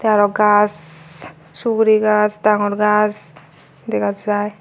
tey aro gaas suguri gaas dangor gaas dega jai.